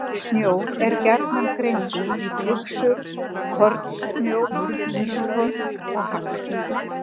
Snjór er gjarnan greindur í flyksur, kornsnjó, ískorn og hagl.